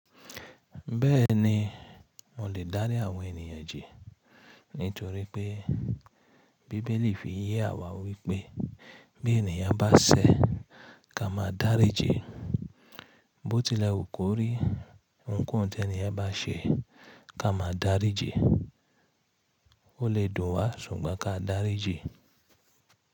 Bẹ́ẹ̀ni, mo lè dárí àwọn ènìyàn ji nítorí pé Bíbélì fi yẹ àwa wípé bí ènìyàn bá ṣẹ̀, ká máa dárí ji. Bó tilẹ̀ o kò rí ohunkóhun tí ènìyàn bá ṣe, ká máa dárí ji. Ó lè dùn wa ṣùgbọ́n ká dárí ji.